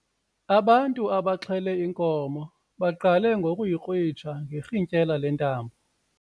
Abantu abaxhele inkomo baqale ngokuyikrwitsha ngerhintyela lentambo.